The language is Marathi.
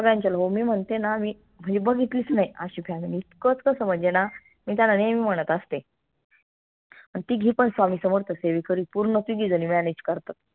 मी म्हनते ना मी मी बघितलीच नाई आशी family इतकं कस म्हनजे ना मी त्यांना नेहमी म्हणत आसते अन तिघी पन स्वामी समर्थ सेवेकरी पूर्ण तिघी झणी manage करतात.